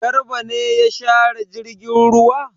Garba ne ya share jirgin ruwa?